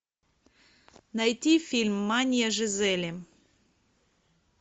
найти фильм мания жизели